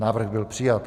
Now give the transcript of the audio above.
Návrh byl přijat.